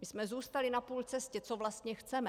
My jsme zůstali na půl cesty, co vlastně chceme.